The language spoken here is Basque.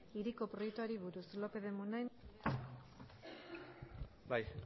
hiriko proiektuari buruz bai